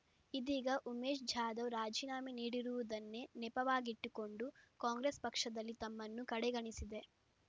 ಇದೀಗ ಉಮೇಶ್ ಜಾಧವ್ ರಾಜೀನಾಮೆ ನೀಡಿರುವುದನ್ನೇ ನೆಪವಾಗಿಟ್ಟುಕೊಂಡು ಕಾಂಗ್ರೆಸ್ ಪಕ್ಷದಲ್ಲಿ ತಮ್ಮನ್ನು ಕಡೆಗಣಿಸಿದೆ